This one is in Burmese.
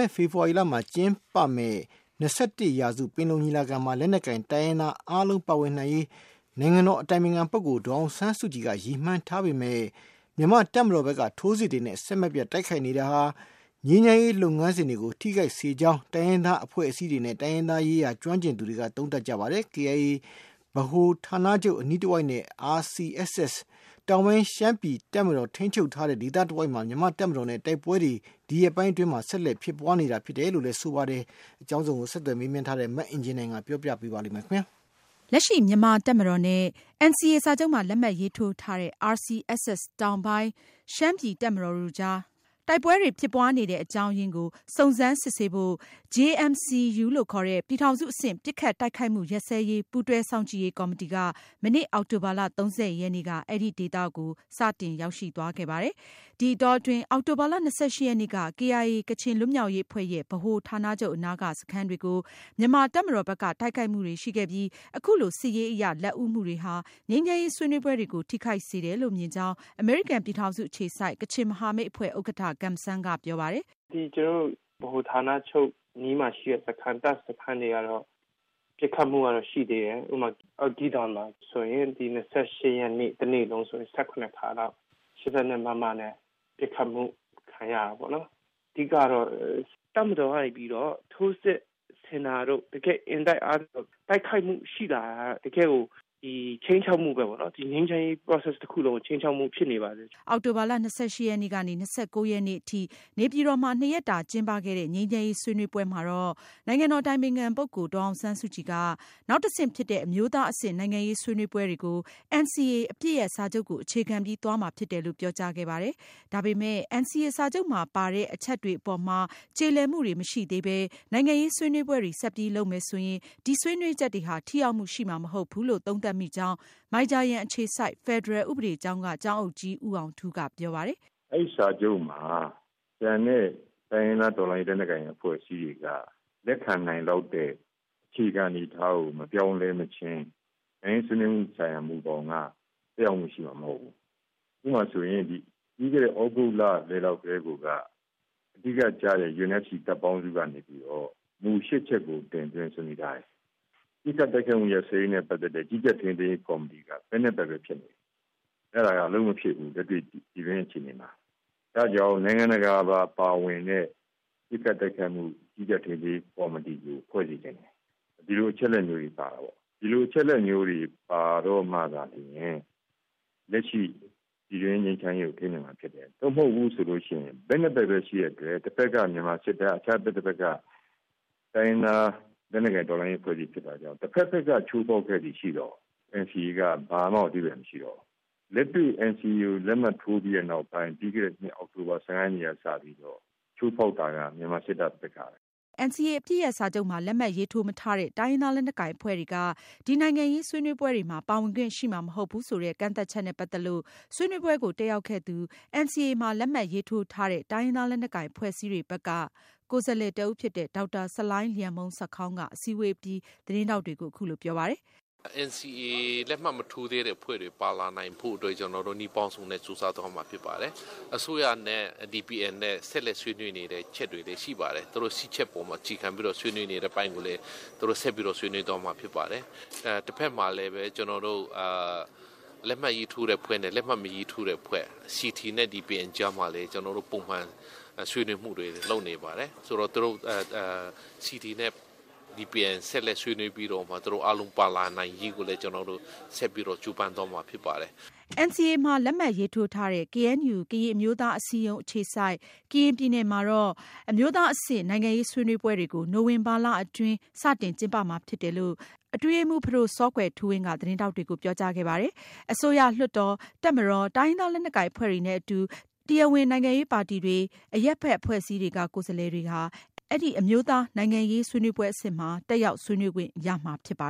စ် ဖေဖေါ်ဝါရီလမှာ ကျင်းပမယ့် ၂၁ရာစုပင်လုံညီလာခံမှာ လက်နက်ကိုင်တိုင်းရင်းသား အားလုံးပါဝင်နိုင်ရေး နိုင်ငံတော်အတိုင်ပင်ခံပုဂ္ဂိုလ် ဒေါ်အောင်ဆန်းစုကြည်က ရည်မှန်းထားပေမယ့် မြန်မာတပ်မတော်ဘက်က ထိုးစစ်တွေနဲ့ ဆက်ပြီးတိုက်နေတာဟာ ငြိမ်းချမ်းရေးလုပ်ငန်းစဉ်တွေကို ထိခိုက်စေကြောင်း တိုင်းရင်းသားအဖွဲ့အစည်းတွေနဲ့ တိုင်းရင်းသားရေးရာကျွမ်းကျင်သူတွေက သုံးသပ်နေကြပါတယ်။ KIA ဗဟိုဌာနချုပ်အနီးတဝိုက်နဲ့ RCSS တောင်ပိုင်းရှမ်းပြည်နယ်တပ်မတော် ထိန်းချုပ်ထားတဲ့ ဒေသတဝိုက် မြန်မာတပ်မတော်နဲ့ တိုက်ပွဲတွေ ဒီရက်ပိုင်းတွေအတွင်း အဆက်မပြတ်ဖြစ်ပွားနေတယ်လို့လည်း ဆိုပါတယ်။ ဆက်သွယ်မေးမြန်းထားတဲ့ မအင်ကြင်းနိုင်က ဆက်ပြီးပြောပြမှာပါ။ လက်ရှိ မြန်မာတပ်မတော်နဲ့ NCA စာချုပ်မှာ လက်မှတ်ရေးထိုးထားတဲ့ RCSS တောင်ပိုင်း ရှမ်းပြည်တပ်မတော်တို့ကြား တိုက်ပွဲတွေဖြစ်ပွားနေတဲ့ အကြောင်းအရင်းကို JMC-U လို့ခေါ်တဲ့ ပြည်ထောင်စုအဆင့် ပစ်ခတ်တိုက်ခိုက်မှုရပ်စဲရေး ပူးတွဲစောင့်ကြည့်ရေးကော်မတီ က မနေ့ အောက်တိုဘာလ ရက်နေ့က စတင် သွားရောက်ပြီး စုံစမ်းစစ်ဆေးနေပါတယ်။ ဒီအတောအတွင်း အောက်တိုဘာလ ရက်နေ့က KIA ကချင်လွတ်မြောက်ရေးအဖွဲရဲ့ ဗဟိုဌာနချုပ် အနားက စခန်းတွေကို မြန်မာတပ်မတော်ဘက်က တိုက်ခိုက်မှုတွေရှိခဲ့ပြီး အခုလို စစ်ရေးအရ လက်ဦးမှုတွေဟာ ငြိမ်းချမ်းရေးဆွေးနွေးပွဲတွေကို ထိခိုက်စေတယ်လို့ မြင်ကြောင်း အမေရိကန်ပြည်ထောင်စုအခြေစိုက် ကချင်မဟာမိတ်အဖွဲ့ ဥက္ကဌ Gum San က ပြောပါတယ်။ “ကျနော်တို့ ဗဟိုဌာနချုပ်အနီးမှာရှိတဲ့ တပ်စခန်းတွေကတော့ ပစ်ခတ်မှုကတော့ ရှိသေးတယ်။ ဥပမာ ဂီးဒွန် ဒီ ၂၈ ရက်နေ့ တနေ့လုံးဆိုရင် ၁၇ ခါလောက် ၈၂ နဲ့ ပစ်ခတ်မှုခံရတာပေါ့နော်။ အဓိကတော့ တပ်မတော်ကနေပြီးတော့ ထိုးစစ်ဆင်တာတို့၊ တကယ့်အင်တိုက်အားတိုက် တိုက်ခိုက်မှုရှိလာတာတို့က တကယ့်ခြိမ်းခြောက်မှုပဲပေါ့နော်။ တကယ့်ငြိမ်းချမ်းရေး process တခုလုံးကို တကယ့် ခြိမ်းခြောက်မှုဖြစ်နေပါတယ်။” အောက်တိုဘာလ ရက်ကနေ ရက်နေ့ထိ နေပြည်တော်မှာ နှစ်ရက်တာကျင်းပခဲ့တဲ့ ငြိမ်းချမ်းရေးဆွေးနွေးပွဲမှာတော့ နိုင်ငံတော်အတိုင်ပင်ခံ ဒေါ်အောင်ဆန်းစုကြည်က နောက်တဆင့်ဖြစ်တဲ့ အမျိုးသားအဆင့် နိုင်ငံရေးဆွေးနွေးပွဲတွေကို NCA အပစ်ရပ်စာချုပ်ကို အခြေခံပြီးသွားမှာဖြစ်တယ်လို့ ပြောကြားခဲ့ပါတယ်။ ဒါပေမယ့် NCA စာချုပ်မှာပါတဲ့ အချက်တွေကို နှစ်ဘက်ကျေလည် သဘောမတူညီသေးတဲ့အပေါ်မှာ နိုင်ငံရေးဆွေးနွေးပွဲတွေ ဆက်ပြီးလုပ်မယ်ဆိုရင် ဒီဆွေးနွေးချက်တွေဟာ ထိရောက်မှုရှိမှာ မဟုတ်ဘူးလို့ သုံးသပ်မိကြောင်း မိုင်ဂျာယန်အခြေစိုက် ဖယ်ဒရယ်ဥပဒေကျောင်း က ကျောင်းအုပ်ကြီး ဦးအောင်ထူးကပြောပါတယ်။ “ အဲဒီ စာချုပ်မှာ ကျန်တဲ့ တိုင်းရင်းသားလက်နက်ကိုင်တော်လှန်ရေးအဖွဲ့အစည်းတွေက လက်ခံနိုင်လောက်တဲ့ အခြေခံအနေအထားကို မပြောင်းလဲမချင်း နိုင်ငံရေးဆွေးနွေးမှုဆိုင်ရာမူဘောင်က သက်ရောက်မှုရှိမှာမဟုတ်ဘူး။ ဥပမာဆိုရင် ပြီးခဲ့တဲ့ သြဂုတ်လ ကတည်းက အဓိကကျတဲ့ UNFC တပ်ပေါင်းစုကနေပြီးတော့ မူ ၈ ချက်ကို တင်သွင်းဆွေးနွေးထားတယ်။ ပစ်ခတ်တိုက်ခိုက်မှု ရပ်စဲရေးနဲ့ ပတ်သက်တဲ့ ကြီးကြပ်ထိန်းသိမ်းရေးကော်မတီက ဘက် ၂ ဘက် ပဲဖြစ်နေတယ်။ အဲဒါက အလုပ်မဖြစ်ဘူး လက်တွေ့ပြည်တွင်းအခြေအနေမှာ။ အဲဒါကြောင့် နိုင်ငံတကာ ပါဝင်တဲ့ ပစ်ခတ်တိုက်ခိုက်မှု ကြီးကြပ်ထိန်းသိမ်းရေးကော်မတီကိုဖွဲ့စေချင်တယ်။ ဒီလိုအချက်အလက်မျိုးတွေပါတာပေါ့။ ဒီလိုအချက်အလက်မျိုးတွေ ပါတော့မှသာလျှင် လက်ရှိပြည်တွင်းငြိမ်းချမ်းရေး ကိုထိန်းနိုင်မှာဖြစ်တယ်။ သို့မဟုတ်ဘူးဆိုရင် ဘက် ၂ ဘက်ပဲ ရှိတဲ့အတွက် တဘက် က မြန်မာစစ်တပ်၊ အခြားတဘက်က တိုင်းရင်းသားလက်နက်ကိုင် တော်လှန်ရေးအဖွဲ့အစည်း ဖြစ်တာကြောင့် တဘက်ဘက်က ချိုးဖောက် ခဲ့သည်ရှိသော် NCAက ဘာမှကို အဓိပ္ပါယ်မရှိတော့ဘူး။ လက်တွေ့ NCA ကို လက်မှတ်ထိုးပြီးနောက်မှာ ပြီးခဲ့တဲ့ အောက်တိုဘာ ၁၅ ရက်နေ့က စပြီး ချိုးဖောက်တာက မြန်မာစစ်တပ်ဘက်ကပဲ။” NCA အပစ်ရပ်စာချုပ်မှာ လက်မှတ်ရေးထိုးမထားတဲ့ တိုင်းရင်းသားလက်နက်ကိုင်အဖွဲ့တွေက ဒီနိုင်ငံရေးဆွေးနွေးပွဲတွေမှာ ပါဝင်ခွင့်ရှိမှာမဟုတ်ဘူးဆိုတဲ့ ကန့်သတ်ချက်နဲ့ပတ်သက်လို့ ဆွေးနွေးပွဲကို တက်ရောက်ခဲ့သူ NCA မှာလက်မှတ်ရေးထိုးထားတဲ့ တိုင်းရင်းသား လက်နက်ကိုင်အဖွဲ့အစည်းတွေဘက်က ကိုယ်စားလှယ်တဦးဖြစ်တဲ့ ဒေါက်တာဆလိုင်းလျန်မှုန်ဆာခေါင်က အစည်းအဝေးပြီး သတင်းထောက်တွေကို အခုလိုပြောပါတယ်။ “NCA လက်မှတ်ရေးထိုးမထားတဲ့အဖွဲ့တွေပါဝင်လာနိုင်ဖို့အတွက် ကျနော်တို့ နည်းပေါင်းစုံနဲ့ ကြိုးစားသွားမှာဖြစ်ပါတယ်။ အစိုးရနဲ့ DPN နဲ့ ဆက်လက်ဆွေးနွေးနေတဲ့ အချက်တွေလည်း ရှိပါတယ်။သူတို့ ၈ ချက်ပေါ်မှာ အခြေခံပြီးတော့ ဆွေးနွေးနေတဲ့အပိုင်းကိုလည်း သူတို့ ဆက်ပြီးတော့ ဆွေးနွေးသွားမှာဖြစ်ပါတယ်။ တဘက်မှာလည်း လက်မှတ်ရေးထိုးတဲ့အဖွဲ့နဲ့ လက်မှတ်မရေးထိုးသေးတဲ့အဖွဲ့ CT နဲ့ DPN ကြားမှာ ဒီကြားမှာလည်း ကျနော်တို့ ပုံမှန်ဆွေးနွေးမှုတွေလုပ်နေပါတယ်။ ဆိုတော့ CT နဲ့ DPN ကြားမှာ ဆက်လက်ဆွေးနွေးပြီးတော့မှ သူတို့ အားလုံးပါလာနိုင်ရေးကိုလည်း ကျနော်တို့ ဆက်ပြီး ကြိုးပမ်းသွားမှာဖြစ်ပါတယ်။ NCA မှာ လက်မှတ်ရေးထိုးထားတဲ့ KNU ကရင်အမျိုးသားအစည်းအရုံးရှိတဲ့ ကရင်ပြည်နယ်မှာတော့ အမျိုးသားအဆင့် နိုင်ငံရေးဆွေးနွေးပွဲတွေကို နိုဝင်ဘာလအတွင်း စတင်ကျင်းပမှာဖြစ်တယ်လို့ အတွင်းရေးမှုး ဖဒိုစောကွယ်ထူးဝင်းက သတင်းထောက်တွေကိုပြောကြားခဲ့ပါတယ်။ အစိုးရ၊ လွှတ်တော်၊ တပ်မတော်၊ တိုင်းရင်းသားလက်နက်ကိုင်အဖွဲ့တွေနဲ့အတူ တရားဝင် နိုင်ငံရေးပါတီတွေနဲ့ အရပ်ဘက်အဖွဲ့အစည်းက ကိုယ်စားလှယ်တွေ တက်ရောက်ဆွေးနွေးခွင့်ရမှာဖြစ်ပါ